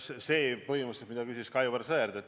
Seda küsis põhimõtteliselt ka Aivar Sõerd.